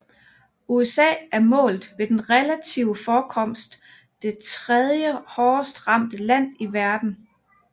USA er målt ved den relative forekomst det tredje hårdest ramte land i verden